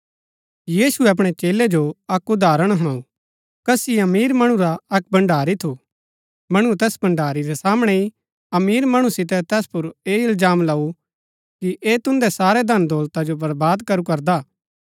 यीशुऐ अपणै चेलै जो अक्क उदाहरण हुणाऊ कसी अमीर मणु रा अक्क भण्डारी थू मणुऐ तैस भण्डारी रै सामणै ही अमीर मणु सितै तैस पुर ऐह इलजाम लऊ कि ऐह तुन्दै सारै धन दौलता जो बर्बाद करू करदा